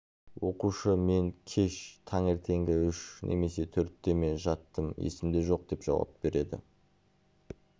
оқушы мен кеш таңертеңгі үш немесе төртте ме жаттым есімде жоқ деп жауап береді